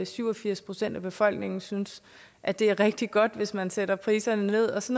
syv og firs procent af befolkningen synes at det er rigtig godt hvis man sætter priserne nederst